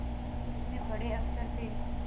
कुछ में बड़े अक्षर थे